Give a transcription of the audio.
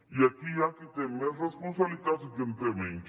i aquí hi ha qui té més responsabilitats i que en té menys